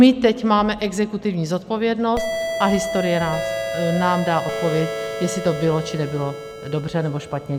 My teď máme exekutivní zodpovědnost a historie nám dá odpověď, jestli to bylo, či nebylo dobře nebo špatně.